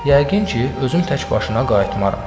Yəqin ki, özüm təkbaşına qaytmaram.